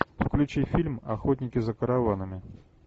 включи фильм охотники за караванами